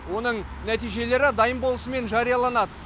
оның нәтижелері дайын болысымен жарияланады